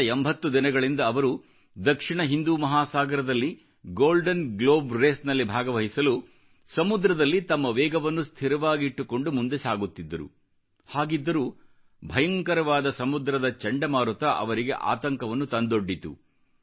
ಕಳೆದ 80 ದಿನಗಳಿಂದ ಅವರು ದಕ್ಷಿಣ ಹಿಂದೂ ಮಹಾಸಾಗರದಲ್ಲಿ ಗೋಲ್ಡನ್ ಗ್ಲೋಬ್ ರೇಸ್ ನಲ್ಲಿ ಭಾಗವಹಿಸಲು ಸಮುದ್ರದಲ್ಲಿ ತಮ್ಮ ವೇಗವನ್ನು ಸ್ಥಿರವಾಗಿಟ್ಟುಕೊಂಡು ಮುಂದೆ ಸಾಗುತ್ತಿದ್ದರು ಹಾಗಿದ್ದರೂ ಭಯಂಕರವಾದ ಸಮುದ್ರದ ಚಂಡಮಾರುತ ಅವರಿಗೆ ಆತಂಕವನ್ನು ತಂದೊಡ್ಡಿತು